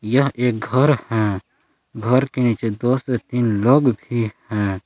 यह एक घर है घर के नीचे दो से तीन लोग भी हैं।